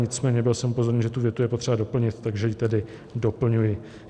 Nicméně byl jsem upozorněn, že tu větu je potřeba doplnit, takže ji tedy doplňuji.